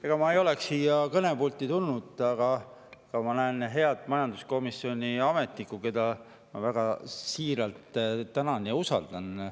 Ega ma ei oleks siia kõnepulti tulnud, aga ma näen head majanduskomisjoni ametnikku, keda ma väga siiralt tänan ja usaldan.